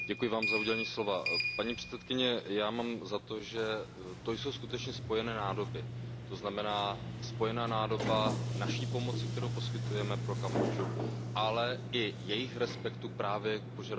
Paní předsedající, já mám za to, že to jsou skutečně spojené nádoby. To znamená, spojená nádoba naší pomoci, kterou poskytujeme Kambodži, ale i jejich respektu právě k požadavkům druhé strany.